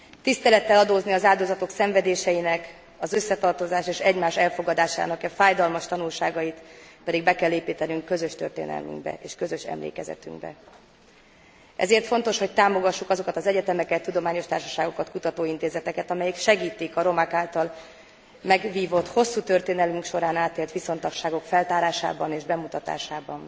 Tisztelettel adózni az áldozatok szenvedéseinek, az összetartozás és egymás elfogadásának e fájdalmas tanulságait pedig be kell építenünk közös történelmünkbe és közös emlékezetünkbe. Ezért fontos, hogy támogassuk azokat az egyetemeket, tudományos társaságokat, kutatóintézeteket, amelyek segítik a romák által megvívott, hosszú történelmünk során átélt viszontagságok feltárásában és bemutatásában.